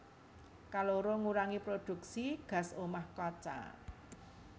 Kaloro ngurangi prodhuksi gas omah kaca